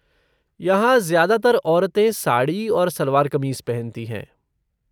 यहाँ, ज्यादातर औरतें साड़ी और सलवार क़मीज़ पहनती हैं।